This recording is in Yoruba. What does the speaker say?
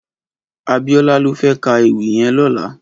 Abiola lò fè kà éwì yèn lòlá